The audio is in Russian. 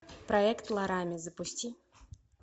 проект ларами запусти